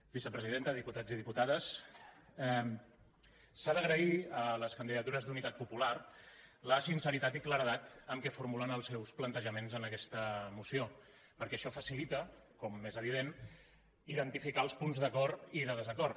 vicepresidenta diputats i diputades s’ha d’agrair a la candidatura d’unitat popular la sinceritat i claredat amb què formula els seus plantejaments en aquesta moció perquè això facilita com és evident identificar els punts d’acord i de desacord